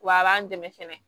W'a b'an dɛmɛ fɛnɛ